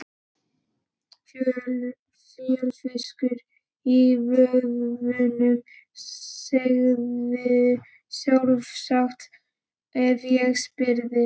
Fjörfiskur í vöðvunum, segðirðu sjálfsagt ef ég spyrði.